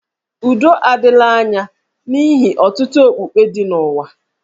Udo adịla anya n'ihi ọtụtụ okpukpe dị n'ụwa